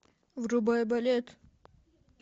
врубай балет